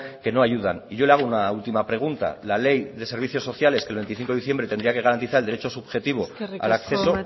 que no ayudan y yo le hago una última pregunta la ley de servicios sociales que el veinticinco de diciembre tendría que garantizar el derecho subjetivo al acceso